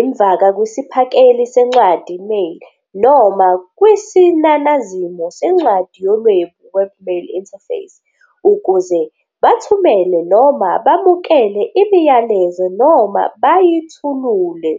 imvaka kwisiphakeli sencwadi, mail," noma kwisinanazimo sencwadi yolwebu, webmail interface," ukuze bathumele noma bamukele imiyalezo noma bayithulule.